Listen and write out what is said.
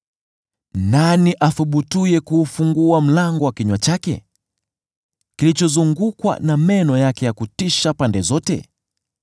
Nani athubutuye kuufungua mlango wa kinywa chake, kilichozungukwa na meno yake ya kutisha pande zote?